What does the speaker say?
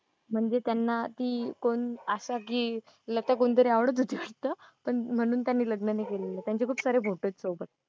म्हणजे त्यांना ती कोण आशा की लता कोणतरी आवडत होती वाटतं पण म्हणून त्यांनी लग्न नाही केलेलं. त्यांचे खूप सारे फोटो आहेत चौकात.